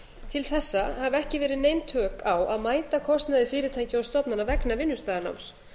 til þessa hafa ekki verið nein tök á að mæta kostnaði fyrirtækja og stofnana vegna vinnustaðanáms